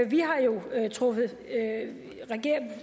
vi har jo truffet